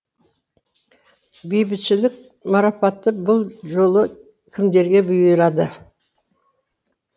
бейбітшілік марапаты бұл жолы кімдерге бұйырды